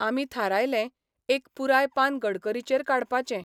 आमी थारायलें, एक पुराय पान गडकरीचेर काडपाचें.